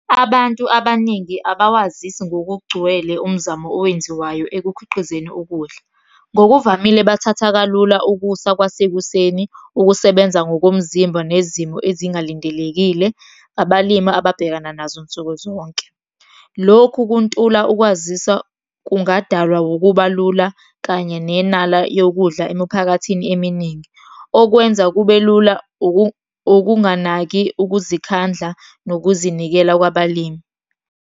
Abantu abaningi abawazisi ngokugcwele umzamo owenziwayo ekukhiqizeni ukudla. Ngokuvamile bathatha kalula ukusa kwasekuseni, ukusebenza ngokomzimba nezimo ezingalindelekile, abalimi ababhekana nazo nsuku zonke. Lokhu kuntula ukwazisa kungadalwa ukuba lula, kanye nenala yokudla emuphakathini eminingi. Okwenza kube lula ukunganaki ukuzikhandla nokuzinikela kwabalimi.